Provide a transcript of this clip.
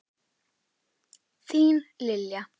Þín Lilja.